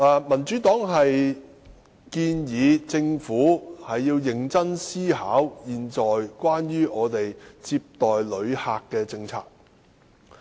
民主黨建議政府認真思考現時接待旅客的政策。